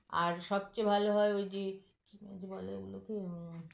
আর সবচেয়ে ভাল হয় ঐযে কী যেন বলে ওগুলোকে হুম